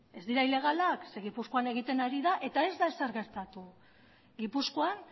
ez dira ilegalak zeren eta gipuzkoan egiten ari da eta ez da ezer gertatu gipuzkoan